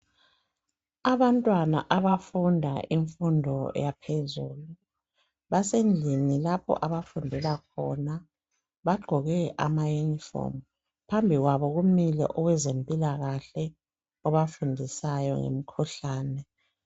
Abantwana abafunda imfundo yaphezulu basendlini lapho abafundela khona bagqoke amayunifomu. Phambi kwabo kumile owezempilakahle obafundisayo ngemikhuhlane.